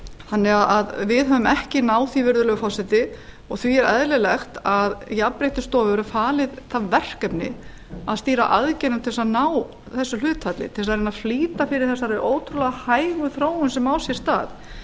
þannig að við höfum ekki náð því virðulegi forseti því er eðlilegt að jafnréttisstofu verði falið það verkefni að stýra aðgerðum til þess að ná þessu hlutfalli til þess að reyna að flýta fyrir þessari ótrúlega hægu þróun sem á sér stað